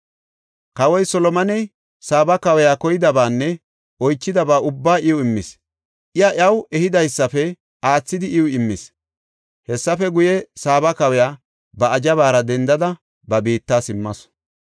Kawoy Solomoney Saaba kawiya koyidabaanne oychidaba ubbaa iw immis. Iya, iyaw ehidaysafe aathidi iw immis. Hessafe guye, Saaba kawiya ba azhabaara dendada ba biitta simmasu.